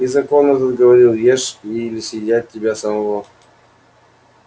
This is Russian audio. и закон этот говорил ешь или съедят тебя самого